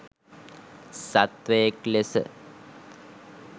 සත්වයෙක් ලෙස